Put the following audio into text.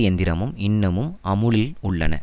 இயந்திரமும் இன்னமும் அமுலில் உள்ளன